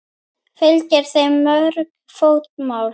Fylgir þeim mörg fótmál.